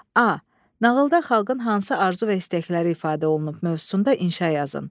A. Nağılda xalqın hansı arzu və istəkləri ifadə olunub mövzusunda inşa yazın.